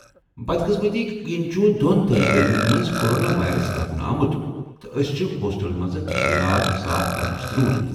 بدقسمتی كِنۍ ، چُھ دۄن طالب علمن مَنٛز کورونا وایرس لبنہٕ آمُت ،تہٕ أسۍ چھِ ہوسٹل منزٕ لاگ صاف کرنٕچ ضروٗرت۔